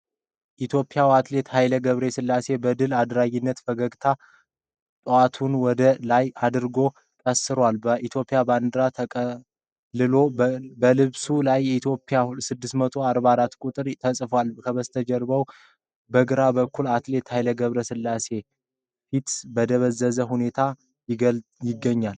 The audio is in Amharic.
ኢትዮጵያዊው አትሌት ሃይሌ ገብረስላሴ በድል አድራጊነት ፈገግታ ጣቱን ወደ ላይ አድርጎ ቀስሯል። በኢትዮጵያ ባንዲራ ተጠቅልሎ በልብሱ ላይ የ'ETHIOPIA 664' ቁጥር ተጽፏል። ከበስተጀርባ በግራ በኩል የአትሌት ሃይሌ ገብረስላሴ ፊት በደበዘዘ ሁኔታ ይገኛል።